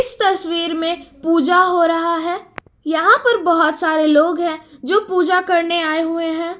तस्वीर में पूजा हो रहा है यहां पर बहुत सारे लोग हैं जो पूजा करने आए हुए हैं।